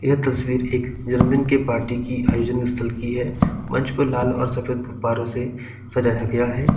यह तस्वीर एक जन्मदिन की पार्टी की आयोजन स्थल की है मंच को लाल और सफेद गुब्बारे से सजाया गया है।